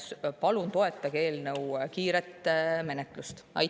Palun toetage eelnõu kiiret menetlemist!